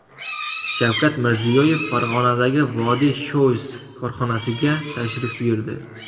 Shavkat Mirziyoyev Farg‘onadagi Vodiy Shoes korxonasiga tashrif buyurdi.